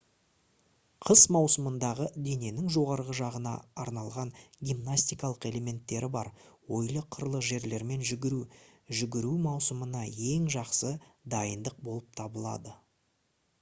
қыс маусымындағы дененің жоғарғы жағына арналған гимнастикалық элементтері бар ойлы-қырлы жерлермен жүгіру жүгіру маусымына ең жақсы дайындық болып табылады